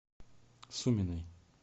суминой